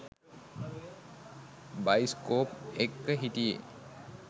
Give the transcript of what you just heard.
Bioscope එක්ක හිටියේ.